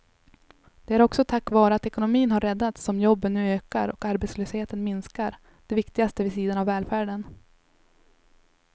Det är också tack vare att ekonomin har räddats som jobben nu ökar och arbetslösheten minskar, det viktigaste vid sidan av välfärden.